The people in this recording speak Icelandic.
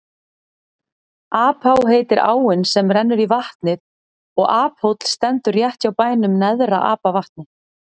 Apá heitir áin sem rennur í vatnið og Aphóll stendur rétt hjá bænum Neðra-Apavatni.